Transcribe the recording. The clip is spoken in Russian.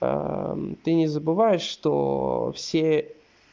ты не забываешь что все